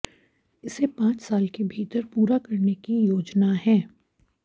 इसे पांच साल के भीतर पूरा करने की योजना है